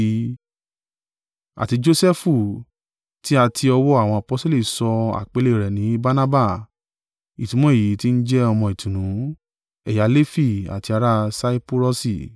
Àti Josẹfu, tí a ti ọwọ́ àwọn aposteli sọ àpèlé rẹ̀ ní Barnaba (ìtumọ̀ èyí tí ń jẹ ọmọ ìtùnú), ẹ̀yà Lefi, àti ará Saipurọsi.